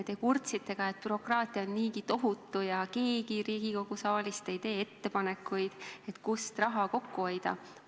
Te kurtsite ka, et bürokraatia on niigi tohutu ja keegi Riigikogu saalist ei tee ettepanekuid, kust raha kokku hoida.